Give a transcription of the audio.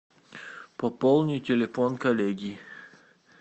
пополни телефон коллеги